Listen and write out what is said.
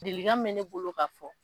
dilikan min bɛ ne bolo ka fɔ